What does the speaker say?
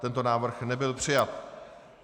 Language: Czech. Tento návrh nebyl přijat.